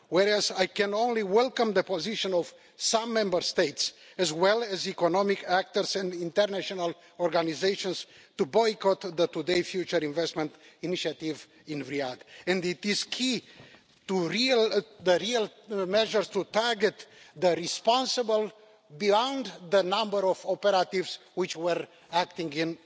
Whereas I can only welcome the position of some Member States, as well as economic actors and international organisations, to boycott today's future investment initiative in Riyadh, what is key is to have real measures to target those responsible beyond the number of operatives which were acting in